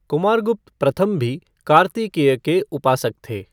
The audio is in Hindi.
कुमारगुप्त प्रथम भी कार्तिकेय के उपासक थे।